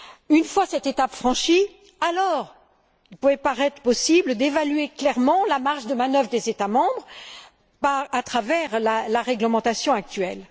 Une fois cette étape franchie, alors, il pouvait paraître possible d'évaluer clairement la marge de manœuvre des États membres à travers la réglementation actuelle.